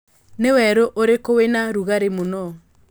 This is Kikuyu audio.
nĩ werũ ũrikũ wĩna rũgari mũno